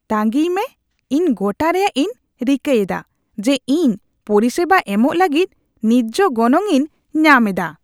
ᱛᱟᱸᱜᱤᱭ ᱢᱮ, ᱤᱧ ᱜᱚᱴᱟ ᱨᱮᱭᱟᱜ ᱤᱧ ᱨᱤᱠᱟᱹ ᱮᱫᱟ ᱡᱮ ᱤᱧ ᱯᱚᱨᱤᱥᱮᱵᱟ ᱮᱢᱚᱜ ᱞᱟᱹᱜᱤᱫ ᱱᱤᱡᱽᱡᱷᱚ ᱜᱚᱱᱚᱝ ᱤᱧ ᱧᱟᱢ ᱮᱫᱟ ᱾